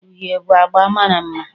Uhie bụ agba mara mma